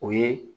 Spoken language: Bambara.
O ye